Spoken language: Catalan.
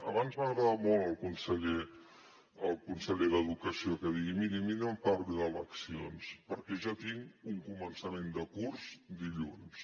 abans m’ha agradat molt el conseller el conseller d’educació que digui miri a mi no em parli d’eleccions perquè jo tinc un començament de curs dilluns